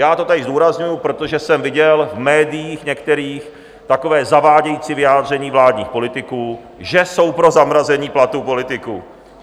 Já to tady zdůrazňuji, protože jsem viděl v médiích některých takové zavádějící vyjádření vládních politiků, že jsou pro zamrazení platů politiků.